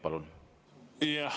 Palun!